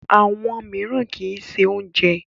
Àwọn mìíràn kì í ṣe oúnjẹ.